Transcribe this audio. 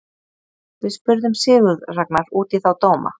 Við spurðum Sigurð Ragnar út í þá dóma.